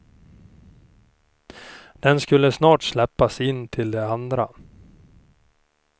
Den skulle snart släppas in till de andra.